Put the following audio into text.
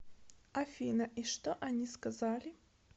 афина и что они сказали